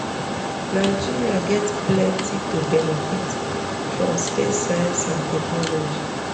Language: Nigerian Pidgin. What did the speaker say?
nigeria get plenty to benefit from space science and technology